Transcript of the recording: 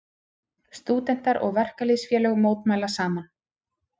Stúdentar og verkalýðsfélög mótmæla saman